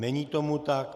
Není tomu tak.